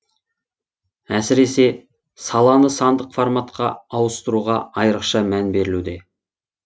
әсіресе саланы сандық форматқа ауыстыруға айрықша мән берілуде